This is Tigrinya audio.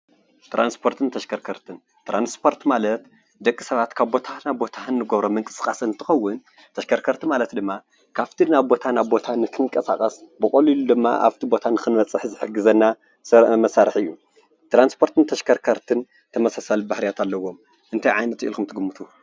ትራንስፖርትን ተሽከርከርትን ትራንስፖርት ማለት ንደቂ ሰባት ካብ ቦታ ናብ ቦታ ንገብሮ ምንቅስቃስ እንትኸውን ተሽከርከርቲ ማለት ድማ ካፍቲ ናብ ቦታ ናብ ቦታ ክንቀሳቀስ ብቀሊሉ ድማ ኣብቲ ቦታ ንኽንበፅሕ ዝሕግዘና ሰብኣዊ መሳርሒ እዩ ። ትራንስፖርትን ተሽከርከርትን ተመሳሳሊ ባህሪያት ኣለዎም እንታይ ዓይነት ኢልኩም ትግምቱ ?